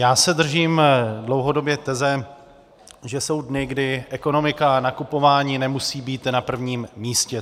Já se držím dlouhodobě teze, že jsou dny, kdy ekonomika a nakupování nemusí být na prvním místě.